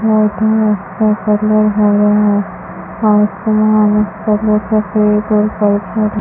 पौधा है उसका कलर हरा है आसमान का कलर सफेद और पर्पल है।